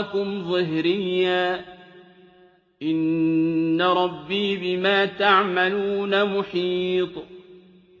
وَرَاءَكُمْ ظِهْرِيًّا ۖ إِنَّ رَبِّي بِمَا تَعْمَلُونَ مُحِيطٌ